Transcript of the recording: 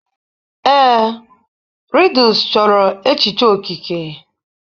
Ee, Riddles chọrọ echiche okike